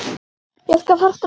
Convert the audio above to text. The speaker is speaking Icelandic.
Ég skal fara strax.